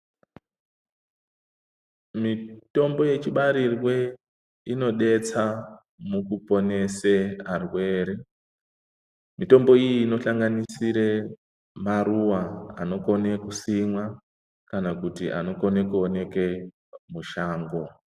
Mitombo yechibarirwe inobetsa mukuponese arwere. mitombo iyi inohlanganisire maruwa anokone kusimwa, kana kuti anokone kuoneke mushango.